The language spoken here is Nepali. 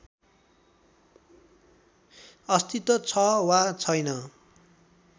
अस्तित्व छ वा छैन